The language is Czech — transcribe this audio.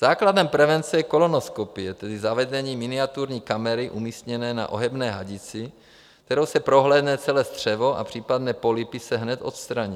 Základem prevence je kolonoskopie, tedy zavedení miniaturní kamery umístěné na ohebné hadici, kterou se prohlédne celé střevo a případné polypy se hned odstraní.